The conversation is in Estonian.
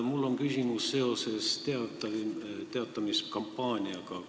Mul on küsimus teavitamiskampaania kohta.